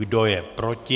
Kdo je proti?